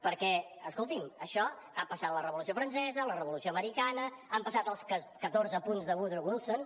perquè escoltin això ha passat la revolució francesa la revolució americana han passat els catorze punts de woodrow wilson